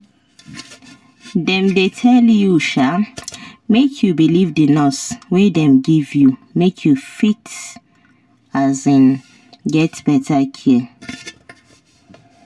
dem dey tell you um make you believe the nurse wey dem give you make you fit um get better care